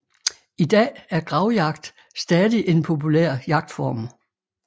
I dag er gravjagt stadig en populær jagtform